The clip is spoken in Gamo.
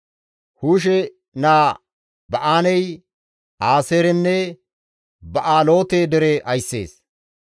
Hushe naa Ba7aanay Aaseerenne Ba7aaloote dere ayssees.